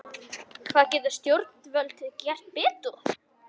Hvað geta stjórnvöld gert betur?